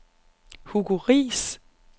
Hugo Riis